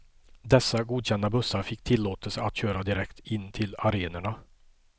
Dessa godkända bussar fick tillåtelse att köra direkt in till arenorna.